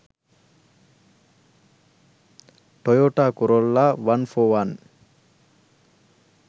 toyota corolla 141